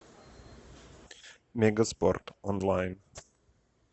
мегаспорт онлайн